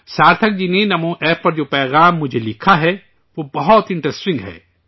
سارتھک جی نے نمو App پر جو پیغام مجھے لکھا ہے، وہ بہت دلچسپ ہے